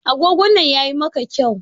Agogon nan yayi maka kyau.